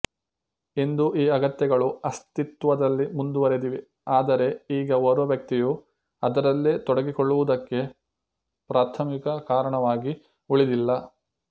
ಇಂದು ಈ ಅಗತ್ಯಗಳು ಅಸ್ತಿತ್ವದಲ್ಲಿ ಮುಂದುವರೆದಿವೆ ಆದರೆ ಈಗ ಓರ್ವ ವ್ಯಕ್ತಿಯು ಅದರಲ್ಲೇ ತೊಡಗಿಕೊಳ್ಳುವುದಕ್ಕೆ ಪ್ರಾಥಮಿಕ ಕಾರಣವಾಗಿ ಉಳಿದಿಲ್ಲ